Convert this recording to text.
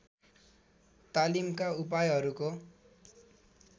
तालीमका उपायहरूको